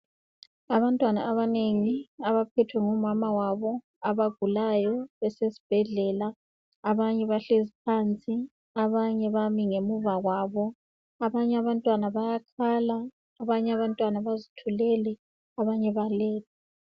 abantwana abanengi abaphethwe ngomama babo abagulayo basesibhedlela abanye bahlezi phansi abanye bami ngemuva kwabo abantwana bayakhala abanye balele abanye bazithulele